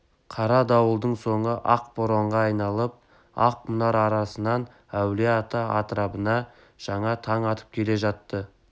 қара дауылдың соңы ақ боранға айналып ақ мұнар арасынан әулие-ата атырабына жаңа таң атып келе жатты